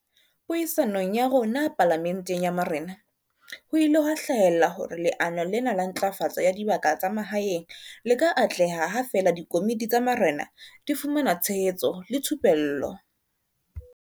Puisanong ya rona Pala menteng ya Marena, ho ile ha hlahella hore leano lena la Ntlafatso ya Dibaka tsa Mahaeng le ka atleha ha feela dikomiti tsa marena di fumana tshehetso le thupello.